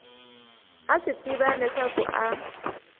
a swi tiva leswaku a